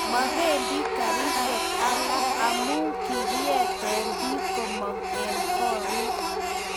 mabendi karisiek alak amu kikiete biik komong'u eng' korik